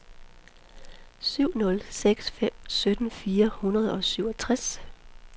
syv nul seks fem sytten fire hundrede og syvogtres